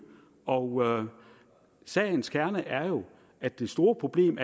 og sagens kerne er jo at det store problem